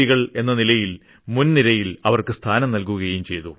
കൾ എന്ന നിലയിൽ മുൻ നിരയിൽ അവർക്ക് സ്ഥാനം നൽകുകയും ചെയ്തു